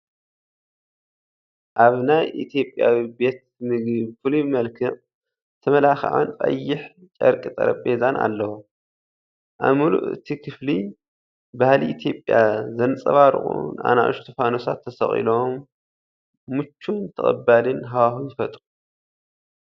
ኣብ ናይ ኢትዮጵያዊ ቤት ምግቢ ብፍሉይ መልክዕ ዝተመላኸዐን ፣ ቀይሕ ጨርቂ ጠረጴዛን ኣለዎ። ኣብ ምሉእ እቲ ክፍሊ ባህሊ ኢትዮጵያ ዘንጸባርቑ ንኣሽቱ ፋኑሳት ተሰቒሎም፡ ምቹእን ተቐባሊን ሃዋህው ይፈጥሩ።